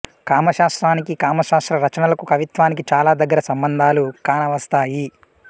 కామశాస్త్రానికీ కామశాస్త్ర రచనలకూ కవిత్వానికీ చాలా దగ్గర సంబంధాలు కానవస్తాయి